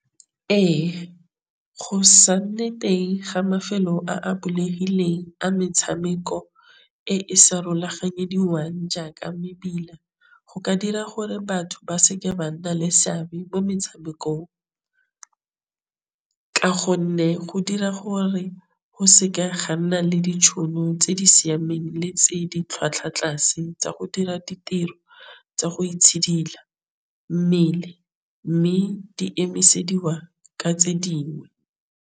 Ee, go sa nne teng ga mafelo a a bulegileng a metšhameko e e sa jaaka mebila. Go ka dira gore batho ba se ke ba nna le seabe mo metšhamekong. Ka gonne go dira gore go se ke ga nna le ditšhono tse di siameng le tse di tlhwatlhwa tlase tsa go dira ditiro tsa go itshidila mmele, mme di emisediwa ka tse dingwe.